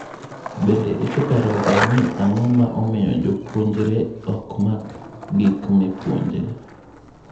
Bende iseparoga ni ang'o ma omiyo japuonjre ok mak gik mipuonje?